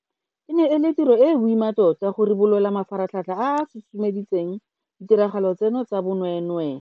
E ne e le tiro e e boima tota go ribolola mafaratlhatlha a a susumeditseng ditiragalo tseno tsa bonweenwee.